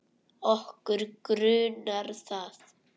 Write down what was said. Okkur grunar það.